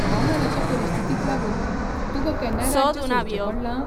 हवामानाचे परिस्थितीक लागून तुका केन्नाय राज्य सोडचें पडलां?